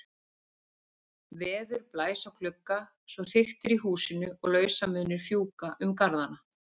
Veður blæs á glugga svo hriktir í húsinu og lausamunir fjúka um garðana.